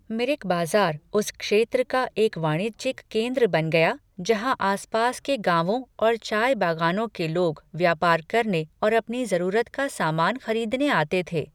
मिरिक बाजार उस क्षेत्र का एक वाणिज्यिक केंद्र बन गया जहाँ आसपास के गाँवों और चाय बागानों के लोग व्यापार करने और अपनी जरूरत का सामान खरीदने आते थे।